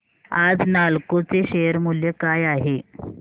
आज नालको चे शेअर मूल्य काय आहे